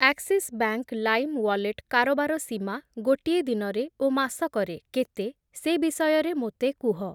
Axis bank lime wallet କାରବାର ସୀମା ଗୋଟିଏ ଦିନରେ ଓ ମାସକରେ କେତେ ସେ ବିଷୟରେ ମୋତେ କୁହ।